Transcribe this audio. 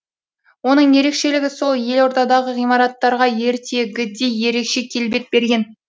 оның ерекшелігі сол елордадағы ғимараттарға ертегідей ерекше келбет берген